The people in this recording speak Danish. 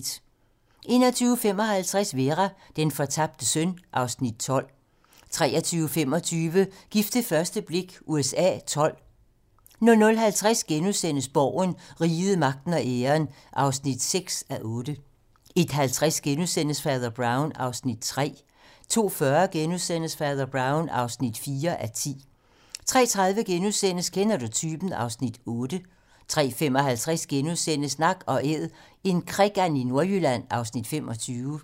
21:55: Vera: Den fortabte søn (Afs. 12) 23:25: Gift ved første blik USA XII 00:50: Borgen - Riget, magten og æren (6:8)* 01:50: Fader Brown (3:10)* 02:40: Fader Brown (4:10)* 03:30: Kender du typen? (Afs. 8)* 03:55: Nak & Æd - en krikand i Nordjylland (Afs. 25)* 05:30: Dage i haven (1:6)